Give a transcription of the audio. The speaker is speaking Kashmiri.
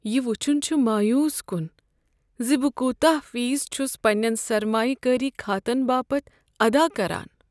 یہ وچھن چھ مایوس کن ز بہٕ کوتاہ فیس چھس پننین سرمایہ کٲری خاتن باپتھ ادا کران۔